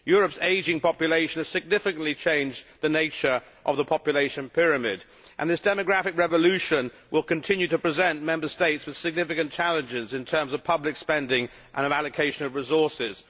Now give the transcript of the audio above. Europe's ageing population has significantly changed the nature of the population pyramid and this demographic revolution will continue to present Member States with significant challenges in terms of public spending and allocation of resources.